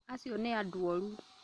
Acio nĩ andũoru